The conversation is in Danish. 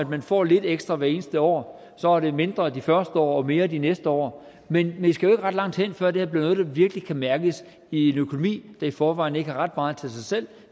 man får lidt ekstra hvert eneste år så er det mindre de første år og mere de næste år men vi skal jo ikke ret langt hen før det her bliver noget der virkelig kan mærkes i en økonomi hvor i forvejen ikke har ret meget til sig selv